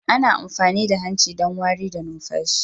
Ana amfani da hanci don wari da numfashi